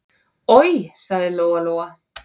Oj, sagði Lóa-Lóa.